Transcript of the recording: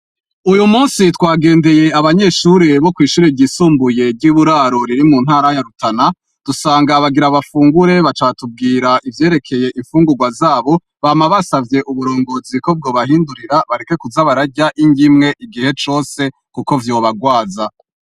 Uyumusi twagendeye abanyeshure bokwishure ryisumbuye ryuburaro riri muntara ya rutana dusanga bagIra bafungure baca batubwiraivyerekeye imfungurwa zabo bama basavye uburongozi ko bwobahindurira bareke kuza bararya inryimwe igihe cose kuko vyobarwaza